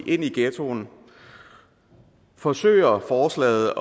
i ghettoen forsøger forslaget